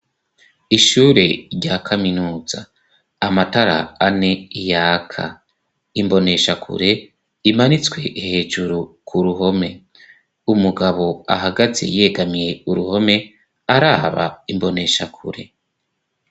Ishure rya kaminuza. Amatara ane yaka. Imboneshakure imanitswe hejuru ku ruhome. Umugabo ahagaze yegamiye uruhome, araba imboneshakure.